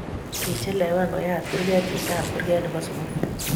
Kichelewan koyat kurke chitap kuke ne bo sukul.